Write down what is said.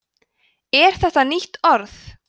er þetta nýtt orð